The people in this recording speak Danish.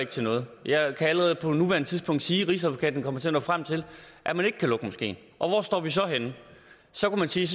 ikke til noget jeg kan allerede på nuværende tidspunkt sige at rigsadvokaten kommer til at nå frem til at man ikke kan lukke moskeen og hvor står vi så henne så kunne man sige